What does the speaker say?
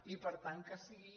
i per tant que sigui